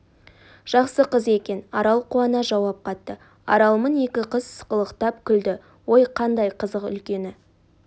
жақсы қыз екен арал қуана жауап қатты аралмын екі қыз сықылықтап күлді ой қандац қызық үлкені